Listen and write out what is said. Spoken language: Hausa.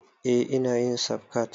Eh ina yin safcat